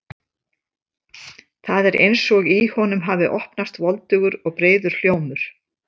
Það er eins og í honum hafi opnast voldugur og breiður hljómur.